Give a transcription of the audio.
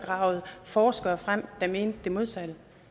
og gravet forskere frem der mente det modsatte